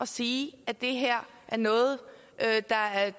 sige at det her er noget der er